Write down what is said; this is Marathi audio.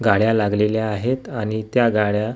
गाड्या लागलेल्या आहेत आणि त्या गाड्या जी--